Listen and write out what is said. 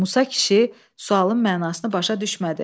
Musa kişi sualın mənasını başa düşmədi.